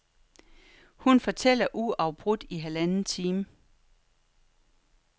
Hun fortæller uafbrudt i halvanden time.